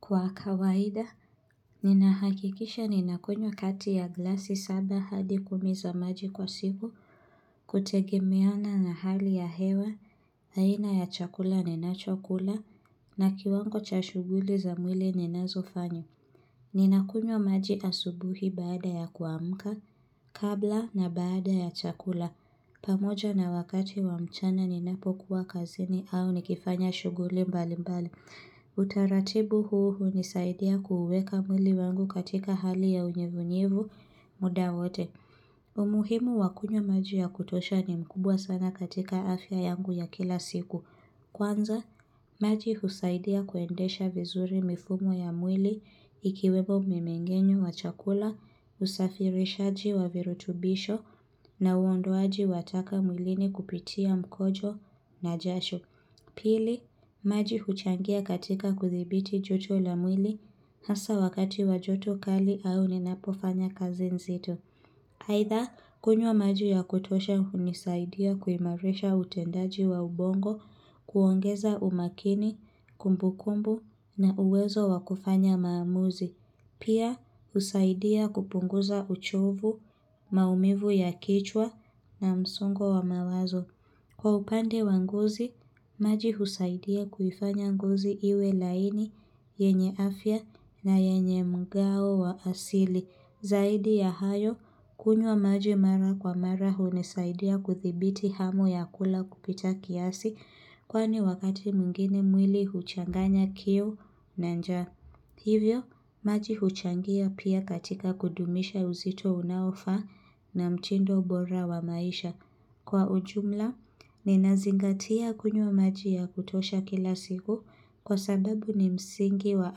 Kwa kawaida, ninahakikisha ninakunywa kati ya glasi saba hadi kumi za maji kwa siku, kutegemeana na hali ya hewa, aina ya chakula ninachokula, na kiwango cha shughuli za mwili ninazofanya. Ninakunywa maji asubuhi baada ya kuamka, kabla na baada ya chakula. Pamoja na wakati wa mchana ninapokuwa kazini au nikifanya shughuli mbalimbali. Utaratibu huu hunisaidia kuuweka mwili wangu katika hali ya unyevunyevu muda wote. Umuhimu wa kunywa maji ya kutosha ni mkubwa sana katika afya yangu ya kila siku. Kwanza, maji husaidia kuendesha vizuri mifumo ya mwili ikiwemo mmemengenyo wa chakula, usafirishaji wa virutubisho na uondoaji wataka mwilini kupitia mkojo na jasho Pili, maji huchangia katika kuthibiti joto la mwili Hasa wakati wa joto kali au ninapofanya kazi nzito aidha, kunywa maji ya kutosha hunisaidia kuimarisha utendaji wa ubongo kuongeza umakini, kumbukumbu na uwezo wa kufanya maamuzi Pia husaidia kupunguza uchovu, maumivu ya kichwa na msungo wa mawazo. Kwa upande wa ngozi, maji husaidia kuifanya ngozi iwe laini, yenye afya na yenye mgao wa asili. Zaidi ya hayo, kunywa maji mara kwa mara hunisaidia kuthibiti hamu ya kula kupita kiasi kwani wakati mwingine mwili huchanganya kiu na njaa. Hivyo, maji huchangia pia katika kudumisha uzito unaofaa na mtindo bora wa maisha. Kwa ujumla, ninazingatia kunywa maji ya kutosha kila siku kwa sababu ni msingi wa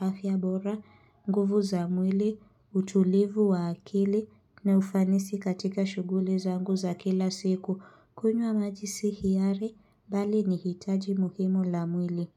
afya bora, nguvu za mwili, utulivu wa akili na ufanisi katika shughuli zangu za kila siku. Kunywa maji si hiari, bali ni hitaji muhimu la mwili.